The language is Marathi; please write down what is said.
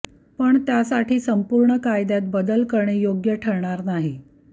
पण त्यासाठी संपूर्ण कायद्यात बदल करणे योग्य ठरणार नाही